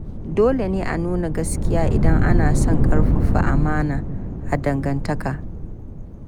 Dole ne a nuna gaskiya idan ana son ƙarfafa amana a dangantaka.